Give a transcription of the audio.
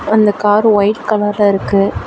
அந்த car white கலர்ல இர்க்கு.